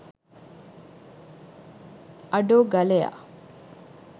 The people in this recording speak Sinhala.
අඩෝ ගලයා